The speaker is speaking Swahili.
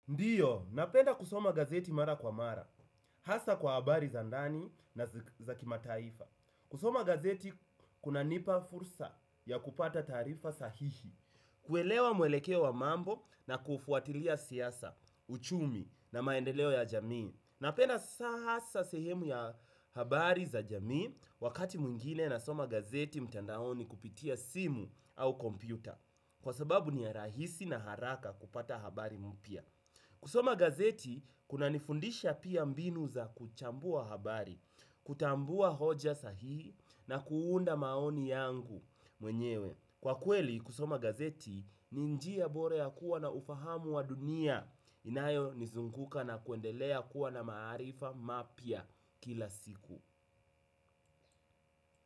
Ndiyo, napenda kusoma gazeti mara kwa mara, hasa kwa habari za ndani na za kimataifa. Kusoma gazeti kuna nipa fursa ya kupata tarifa sahihi. Kuelewa mwelekeo wa mambo na kufuatilia siasa, uchumi na maendeleo ya jamii. Napenda hasa sehemu ya habari za jamii wakati mwingine nasoma gazeti mtandaoni kupitia simu au kompyuta. Kwa sababu ni ya rahisi na haraka kupata habari mpya. Kusoma gazeti kunanifundisha pia mbinu za kuchambua habari, kutambua hoja sahihi na kuunda maoni yangu mwenyewe. Kwa kweli kusoma gazeti ni njia bora ya kuwa na ufahamu wa dunia inayonizunguka na kuendelea kuwa na maarifa mapya kila siku.